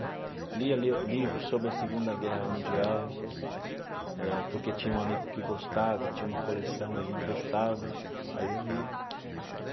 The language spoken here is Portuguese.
Lia, lia livros sobre a Segunda Guerra Mundial, eh porque tinha um amigo que gostava e tinha uma coleção, ele emprestava, aí eu lia.